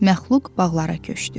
Məxluq bağlara köçdü.